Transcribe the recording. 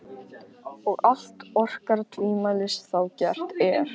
Og allt orkar tvímælis þá gert er.